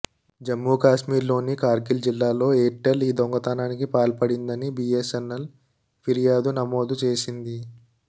జమ్ముకశ్మీర్లోని కార్గిల్ జిల్లాలో ఎయిర్టెల్ ఈ దొంగతనానికి పాల్పడిందని బీఎస్ఎన్ఎల్ ఫిర్యాదు నమోదు చేసింది